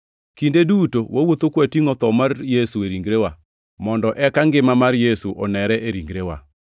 Kinde duto wawuotho ka watingʼo tho mar Yesu e ringrewa, mondo eka ngima mar Yesu onere e ringrewa.